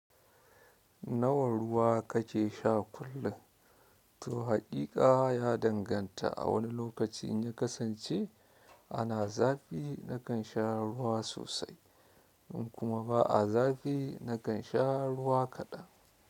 Nawa ruwa kake sha kullum? To haƙiƙa ya danganta. A wani lokaci in ya kasance ana zafi nakan sha ruwa sosai in kuma ba a zafi nakan sha ruwa kaɗan.